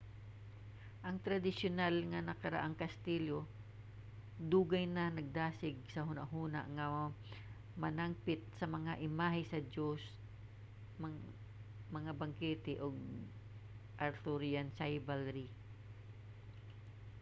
ang tradisyonal nga karaang kastilyo dugay na nagdasig sa hunahuna nga nanangpit sa mga imahe sa joust mga bangkete ug arthurian chivalry